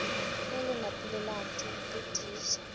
le le napile le tiiša